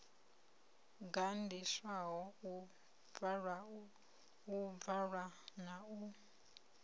gandiswaho u bvalwa na u